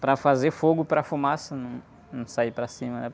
Para fazer fogo, para fumaça, não sair para cima, né?